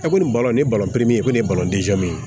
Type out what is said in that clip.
E kɔni balon nin ye min ye o de ye ye